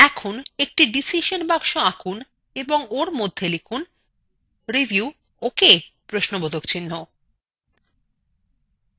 এখন একটি decision box আঁকুন এবং ওর মধ্যে লিখুন review okay